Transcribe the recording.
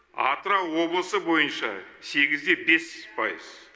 атырау облысы бойынша сегіз де бес пайыз